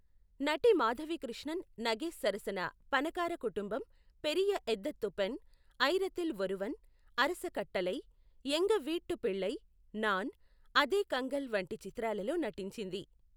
నటి మాధవి కృష్ణన్ నగేష్ సరసన పణకార కుటుంబమ్, పెరియ ఎదత్థు పెన్, అయిరతిల్ ఒరువన్, అరస కట్టలై, ఎంగ వీట్టు పిళ్ళై, నాన్, అధే కంగల్ వంటి చిత్రాలలో నటించింది.